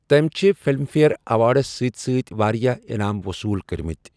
تٔمۍ چھِ Filmfare awards سۭتۍ سۭتۍ واریاہ انعام وصوٖل کٔرمٕتۍ۔